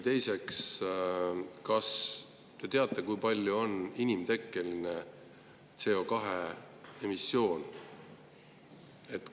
Teiseks, kas te teate, kui suur on inimtekkeline CO2-emissioon?